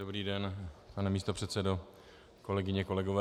Dobrý den, pane místopředsedo, kolegyně, kolegové.